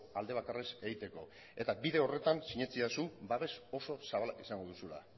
alde bakarrez egiteko eta bide horretan sinetsidazu babes oso zabala izango duzula